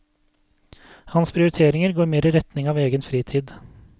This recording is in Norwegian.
Hans prioriteringer går mer i retning av egen fritid.